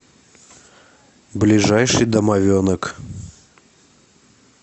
ближайший домовенок